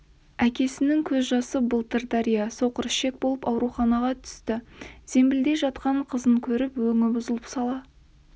әкенің көз жасы былтыр дария соқырішек болып ауруханаға түсті зембілде жатқан қызын көріп өңі бұзылып сала